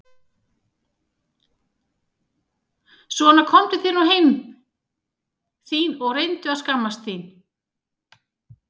Svona komdu þér nú heim þín og reyndu að skammast þín!